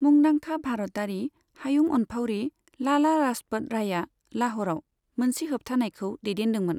मुंदांखा भारतारि हायुं अनफावरि लाला लाजपत रायआ लाह'रआव मोनसे होबथानायखौ दैदेनदोंमोन।